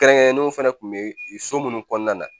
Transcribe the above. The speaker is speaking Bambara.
Kɛrɛnkɛrɛnnenw fɛnɛ kun be so munnu kɔɔna na